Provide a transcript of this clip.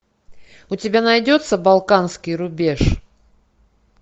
у тебя найдется балканский рубеж